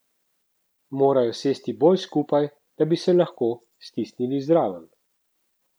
Morajo sesti bolj skupaj, da bi se lahko stisnil zraven.